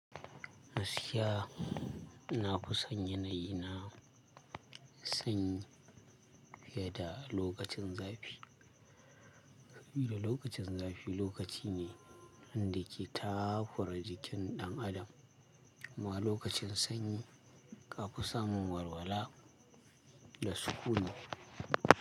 Gaskiya ina kusan yanayi na sanyi fiye da lokacin zafi, sabida lokacin zafi lokaci ne wanda ke takura jikin ɗan adam kuma lokacin sanyi ka fi samun walwala da sukuni.